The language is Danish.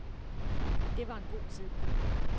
Det var en god tid.